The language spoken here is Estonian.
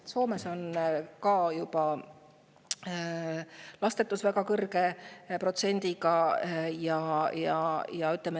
Ka Soomes on lastetuse protsent juba väga kõrge.